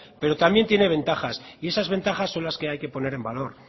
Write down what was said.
pero también tiene ventajas y esas ventajas son las que hay que poner en valor